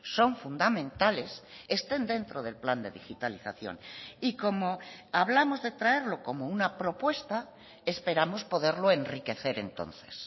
son fundamentales estén dentro del plan de digitalización y como hablamos de traerlo como una propuesta esperamos poderlo enriquecer entonces